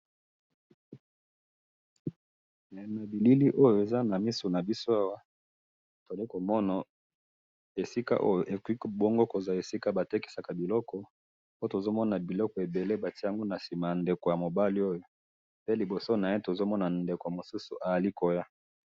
Na bilili oyo eza na misu na biso awa ,tozali komona esika oyo bongo, bongo koza esika batekisaka biloko po tozo mona biloko ebele batié yango na sima na ndeko mobali oyo pe liboso na ye tozo mona ndeko mosusu azali koya